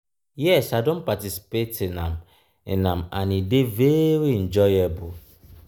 yes i don participate in am in am and e dey very enjoyable.